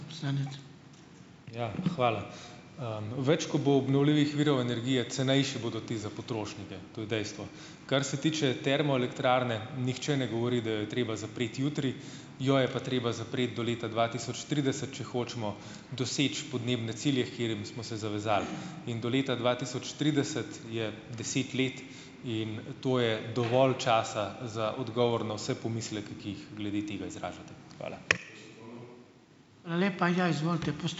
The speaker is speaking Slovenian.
Ja, hvala. Več ko bo obnovljivih virov energije, cenejši bodo ti za potrošnike. To je dejstvo. Kar se tiče termoelektrarne, nihče ne govori, da jo je treba zapreti jutri. Jo je pa treba zapreti do leta dva tisoč trideset, če hočemo doseči podnebne cilje, h katerim smo se zavezali. In do leta dva tisoč trideset je deset let in to je dovolj časa za odgovor na vse pomisleke, ki jih glede tega izražate. Hvala.